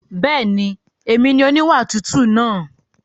Bẹ́ẹ̀ni, èmi ni oníwà tútù náà.